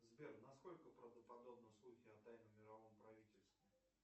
сбер насколько правдоподобны слухи о тайном мировом правительстве